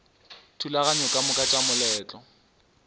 dithulaganyo ka moka tša moletlo